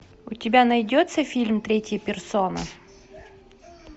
у тебя найдется фильм третья персона